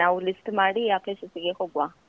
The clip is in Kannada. ನಾವು list ಮಾಡಿ ಆ places ಗೆ ಹೋಗುವ.